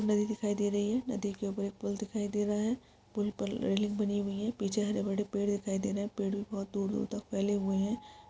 नदी दिखाई दे रही है नदी के ऊपर एक पुल दिखाई दे रहा है पुल पर रेलिंग बनी हुई हैं पीछे हरे बड़े पेड़ दिखाई दे रहे हैं पेड़ भी बहुत दूर दूर तक फैले हुए हैं।